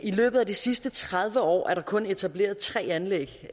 i løbet af de sidste tredive år er der kun etableret tre anlæg